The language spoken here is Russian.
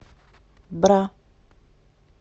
бра